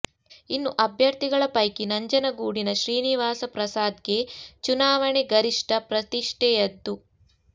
ಇನ್ನು ಅಭ್ಯರ್ಥಿಗಳ ಪೈಕಿ ನಂಜನಗೂಡಿನ ಶ್ರೀನಿವಾಸ ಪ್ರಸಾದ್ಗೆ ಚುನಾವಣೆ ಗರಿಷ್ಠ ಪ್ರತಿಷ್ಠೆಯದ್ದು